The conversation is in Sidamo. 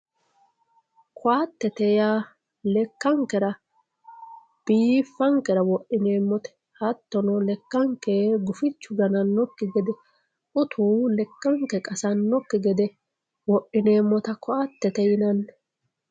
ko"attete yaa lekkankera biiffankera wodhineemmote hattono lekkanke gufichu ganannokki gede utu lekkanke qasannokki gede wodhineemmota ko"attete yinanni